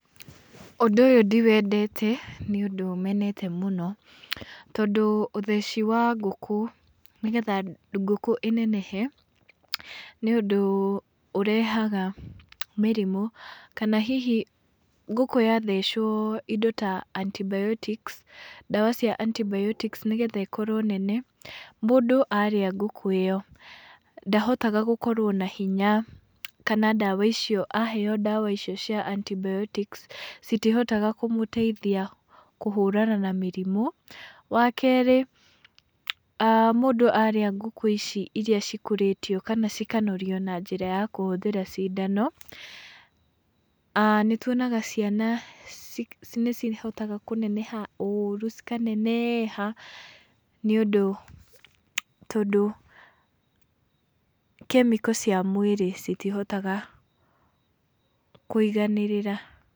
Ũndũ ũyũ ndiwendete nĩ ũndũ menete mũno, tondũ ũtheci wa ngũkũ nĩgetha ngũkũ ĩnenehe, nĩũndũ ũrehaga mĩrimũ, kana hihi ngũkũ yathecwo indo ta antibiotics ndawa cia antibiotics nĩgetha ĩkorwo nene, mũndũ arĩa ngũkũ ĩyo ndahotaga gũkorwo na hinya, kana ndawa icio aheo ndawa icio cia antibiotics, citihotaga kũmũteithia kũhũrana na mĩrimũ. Wakerĩ mũndũ arĩa ngũkũ ici iria cikũrĩtio kana cikanorio na njĩra ya kũhũthĩra cindano, nĩtuonaga ciana nĩcihotaga kũneneha ũru cikaneneha, nĩũndũ tondũ kemiko cia mwĩrĩ citihotaga kũiganĩrĩra.